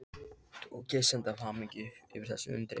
Og kyssast af hamingju yfir þessu undri.